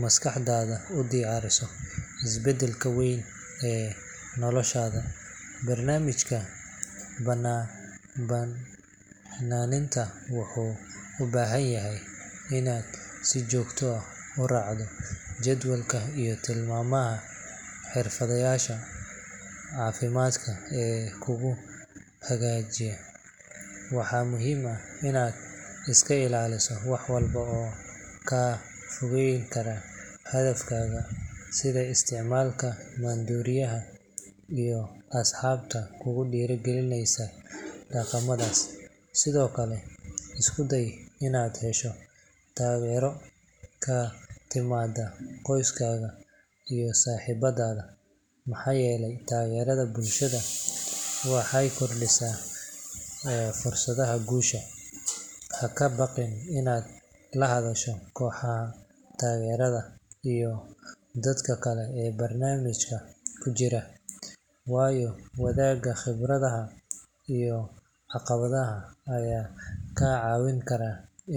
maskaxdaada u diyaarisaa isbeddelka weyn ee noloshaada. Barnaamijka baxnaaninta wuxuu u baahan yahay inaad si joogto ah u raacdo jadwalka iyo tilmaamaha xirfadlayaasha caafimaadka ee kugu hagaya. Waxaa muhiim ah inaad iska ilaaliso wax walba oo kaa fogeyn kara hadafkaaga, sida isticmaalka maandooriyaha iyo asxaabta kugu dhiirrigelinaya dhaqamadaas. Sidoo kale, isku day inaad hesho taageero ka timaada qoyskaaga iyo saaxiibada, maxaa yeelay taageerada bulshada waxay kordhisaa fursadaha guusha. Ha ka baqin inaad la hadasho kooxaha taageerada iyo dadka kale ee barnaamijka ku jira, waayo wadaagga khibradaha iyo caqabadaha ayaa kaa caawin kara in.